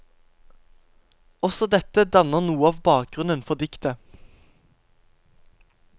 Også dette danner noe av bakgrunnen for diktet.